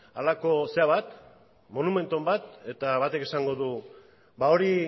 monumentu bat eta batek esango du hori